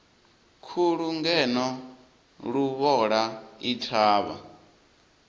khulu ngeno luvhola i thavha